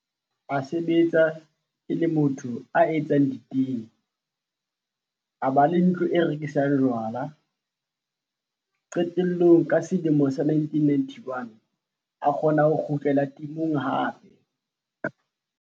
A sebetsa e le motho ya etsang ditene. A ba le ntlo e rekisang jwala. Qetellong ka selemo sa 1991 a kgona ho kgutlela temong hape.